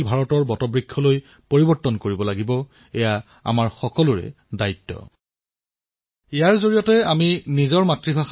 ইয়াত থকা চাট বটৰ জৰিয়তে আপুনি কথা পাতিব পাৰে আৰু যিকোনো চৰকাৰী যোজনাৰ বিষয়ে উপযুক্ত তথ্য লাভ কৰিব পাৰে